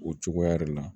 O cogoya de la